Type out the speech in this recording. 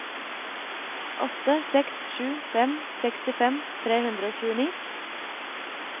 åtte seks sju fem sekstifem tre hundre og tjueni